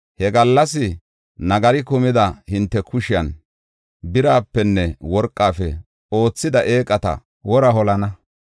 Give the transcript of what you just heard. He gallas nagari kumida hinte kushiyan birapenne worqafe oothida eeqata wora holana.